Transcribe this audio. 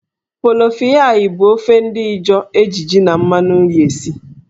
Polofiyai bụ ofe ndị Ịjọọ eji jí na mmanụ nri esi.